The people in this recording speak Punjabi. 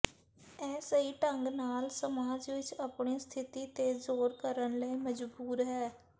ਇਹ ਸਹੀ ਢੰਗ ਨਾਲ ਸਮਾਜ ਵਿਚ ਆਪਣੀ ਸਥਿਤੀ ਤੇ ਜ਼ੋਰ ਕਰਨ ਲਈ ਮਜਬੂਰ ਹੈ